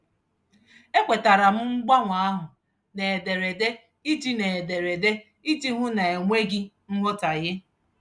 E kwetere m mgbanwe ahụ n'ederede iji n'ederede iji hụ na e nweghị nghọtaghie.